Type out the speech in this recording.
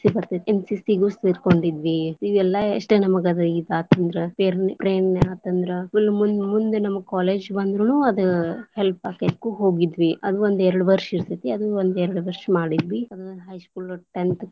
ಬರ್ತೇತಿ NCC ಗು ಸೆರಕೊಂಡಿದ್ವಿ, ಇವೆಲ್ಲಾ ಎಷ್ಟ ನಮಗ ಇದ ಆತಂದ್ರ ಪ್ರೇರಣೆ ಆತಂದ್ರ full ಮುಂದ ಮುಂದ ನಮಗ college ಬಂದ್ರನು ಅದು help ಆಕ್ಕೆತಿ ಅದಕ್ಕೂ ಹೋಗಿದ್ವಿ ಅದ್ ಒಂದ್ ಎರಡ್ ವರ್ಷ ಇರತೇತಿ ಅದನ್ನ ಒಂದ ಎರಡ ವರ್ಷ ಮಾಡಿದ್ವಿ, ಅದು high school tenth .